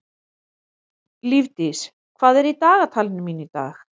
Lífdís, hvað er í dagatalinu mínu í dag?